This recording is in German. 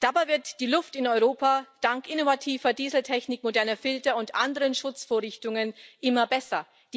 Dabei wird die Luft in Europa dank innovativer Dieseltechnik, moderner Filter und anderen Schutzvorrichtungen immer besser.